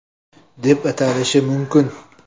deb atalishi mumkin.